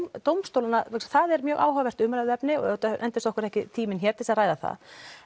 dómstólanna það er mjög áhugavert umræðuefni og endist okkur ekki tíminn hér til að ræða það